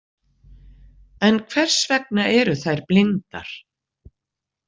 En hvers vegna eru þær blindar?